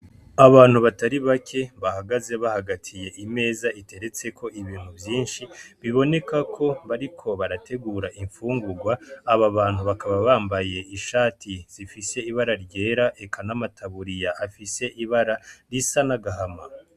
Abantu batari bake bahagaze bahagatiye imeza iteretseko ibintu vyinshi biboneka ko bariko barategura imfungurwa, aba bantu bakaba bambaye ishati zifise ibara ryera eka n'amataburiya afise ibara risa n'agahama.